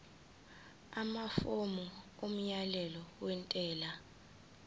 amafomu omyalelo wentela